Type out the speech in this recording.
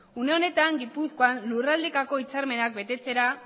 une honetan gipuzkoan lurraldekako hitzarmenak betetzera